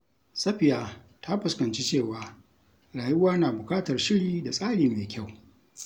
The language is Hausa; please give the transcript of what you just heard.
Safiya ta fuskanci cewa rayuwa na bukatar shiri da tsari mai kyau.